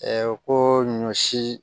ko ɲɔ si